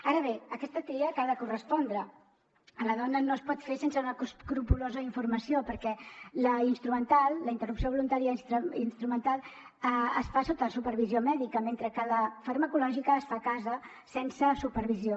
ara bé aquesta tria que ha de correspondre a la dona no es pot fer sense una escrupolosa informació perquè la instrumental la interrupció voluntària instrumental es fa sota supervisió mèdica mentre que la farmacològica es fa a casa sense supervisió